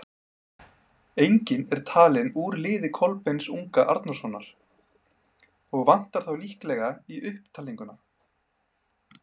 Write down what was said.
Enginn er talinn úr liði Kolbeins unga Arnórssonar, og vantar þar líklega í upptalninguna.